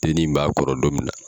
Denin in b'a kɔrɔ don min na.